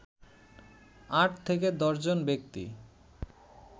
আট থেকে দশজন ব্যক্তি